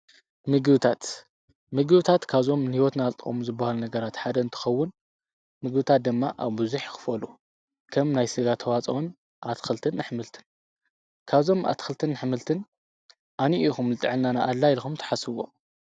ምግብታት፣ ምግብታት ካብዞም ንሂወትና ዝጠቅሙ ዝብሃል ነገራት ሓደ እንትኸውን ምግብታት ድማ ኣብዙሕ ይ ክፈሉ። ከም ናይ ስጋ ተዋፅኦን፣ ኣትክልትን ኣሕምልትን ካብዞም ኣትክልትን ኣሕምልትን ኣየኒኡ ኢኹም ንጥዕናና ኣድላይ ኢልኹም ትሓስብዎ?